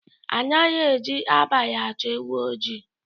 Anaghị eji abalị achọ ewu oji